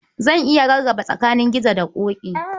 Zan iya rarrabe tsakanin Gizo da Ƙoƙi.